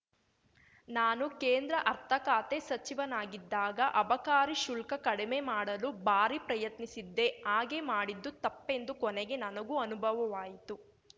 ನಾನು ಕೇಂದ್ರ ಅರ್ಥಖಾತೆ ಸಚಿವನಾಗಿದ್ದಾಗ ಅಬಕಾರಿ ಶುಲ್ಕ ಕಡಿಮೆ ಮಾಡಲು ಭಾರೀ ಪ್ರಯತ್ನಿಸಿದ್ದೆ ಹಾಗೆ ಮಾಡಿದ್ದು ತಪ್ಪೆಂದು ಕೊನೆಗೆ ನನಗೂ ಅನುಭವವಾಯಿತು